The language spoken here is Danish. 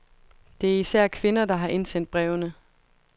Det er især kvinder, der har indsendt brevene.